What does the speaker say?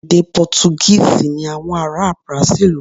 Èdè Pọ́túgíìsì ni àwọn ará Brasil ń sọ.